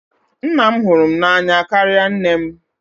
Nna m hụrụ m n'anya karịa nne m.